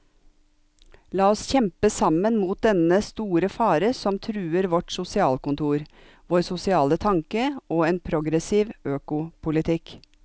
La oss kjempe sammen mot dennne store fare som truer vårt sosialkontor, vår sosiale tanke og en progressiv økopolitikk.